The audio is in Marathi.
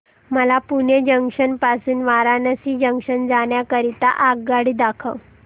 मला पुणे जंक्शन पासून वाराणसी जंक्शन जाण्या करीता आगगाडी दाखवा